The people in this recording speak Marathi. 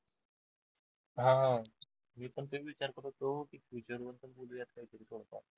हा हा मी पण तेच विचार करत होतो की future वर पण